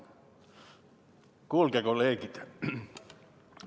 Kuulge, kolleegid!